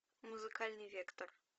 музыкальный вектор